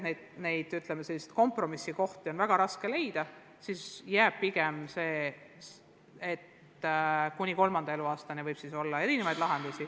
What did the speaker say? Ja kui on selge, kompromisse on väga raske leida, siis jääb pigem nii, et kuni laste kolmanda eluaastani võib lubada erinevaid lahendusi.